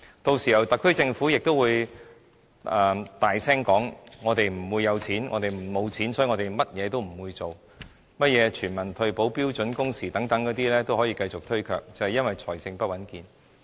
屆時特區政府又會大聲說沒有錢，所以甚麼也不會做，甚麼全民退保、標準工時等也可以繼續推卻，便是因為財政不穩健。